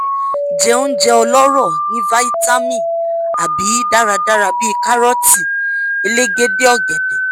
jẹ ounjẹ ọlọrọ ni vitamin a a bi daradara bi karọ́ọ̀ti ​​elegede ọ̀gẹ̀dẹ̀